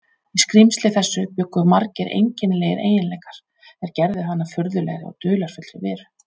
Í skrímsli þessu bjuggu margir einkennilegir eiginleikar, er gerðu hann að furðulegri og dularfullri veru.